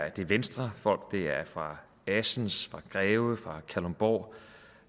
venstrefolk det er fra assens fra greve fra kalundborg